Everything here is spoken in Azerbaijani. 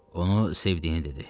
Onu sevdiyini dedi.